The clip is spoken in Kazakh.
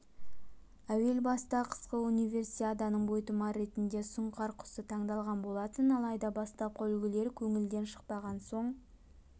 әуел баста қысқы универсиаданың бойтұмары ретінде сұңқар құсы таңдалған болатын алайда бастапқы үлгілер көңілден шықпаған соң